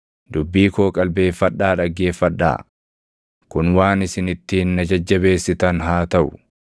“Dubbii koo qalbeeffadhaa dhaggeeffadhaa; kun waan isin ittiin na jajjabeessitan haa taʼu.